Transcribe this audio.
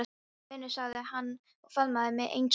Blessaður vinur sagði hann og faðmaði mig eins og áður.